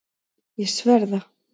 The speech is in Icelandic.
Ég sver það.